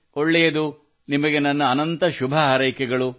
ಒಳ್ಳೆಯದು ನಿಮಗೆ ನನ್ನ ಅನಂತ ಶುಭ ಹಾರೈಕೆಗಳು